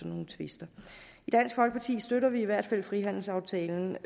nogle tvister i dansk folkeparti støtter vi i hvert fald frihandelsaftalen